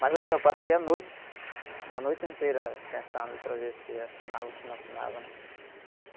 Mas, assim, eu passei a noite, uma noite inteira, pensando, para ver se assinava ou se não assinava.